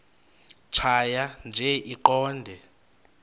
tjhaya nje iqondee